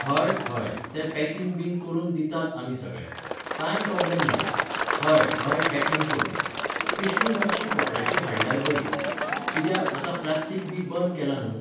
हय, हय, ते packing बीन करून दितात आमी सगळे. कांय problem ना. हय, हय packing करून. पिशवी मातशी कपड्याची हाडल्यार बरी. कित्याक, आतां प्लास्टीक बी बंद केलां न्हू?